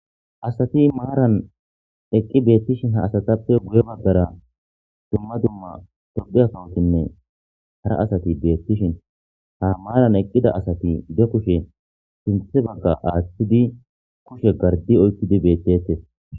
Asati maaran eqqi beettishin ha asatappe buye baggara dumma dumma tobiya kawotinne hara asati beettishin ha maaran eqqida asati de kushe sinthe bagga aaththidi kushe gardi oykidi beettettes.